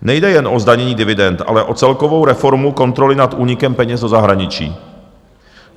Nejde jen o zdanění dividend, ale o celkovou reformu kontroly nad únikem peněz do zahraničí.